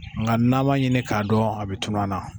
Nka n'an m'a ɲini k'a dɔn a bɛ tunu an na